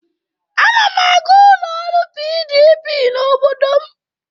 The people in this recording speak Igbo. Ana m aga ụlọ ọrụ PDP n'obodo m.